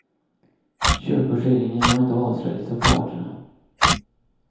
Köpeskillingen har inte avslöjats av parterna.